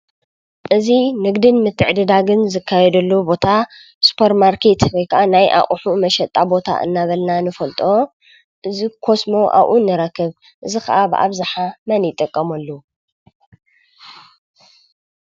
እዚ ንግድን ምትዕድዳግን ዝካየደሉ ቦታ ስፖር ማርኬት ወይ ክዓ ናይ ኣቁሑ መሸጣ ቦታ እናበልና ንፈልጦ። እዚ ኮስሞ ኣብኡ ንረክብ። እዚ ክዓ ብኣብዝሓ መን ይጥቀመሉ?